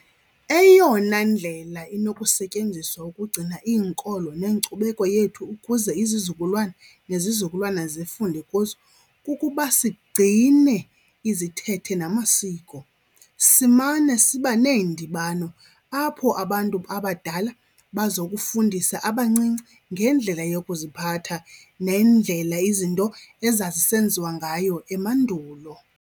Eyona ndlela inokusetyenziswa ukugcina iinkolo nenkcubeko yethu ukuze izizukulwana nezizukulwana zifunde kuzo kukuba sigcine izithethe namasiko. Simane siba neendibano apho abantu abadala bazokufundisa abancinci ngendlela yokuziphatha nendlela izinto ezazisenziwa ngayo emandulo.